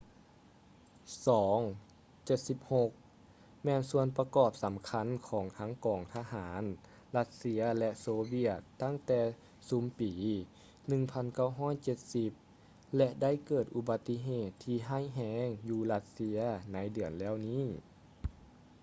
il-76 ແມ່ນສ່ວນປະກອບສໍາຄັນຂອງທັງກອງທະຫານຣັດເຊຍ ແລະ ໂຊວຽດຕັ້ງແຕ່ຊຸມປີ 1970 ແລະ ໄດ້ເກີດອຸບັດຕິເຫດທີ່ຮ້າຍແຮງຢູ່ຣັດເຊຍໃນເດືອນແລ້ວນີ້